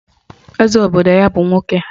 Eze obodo ya bụ nwoke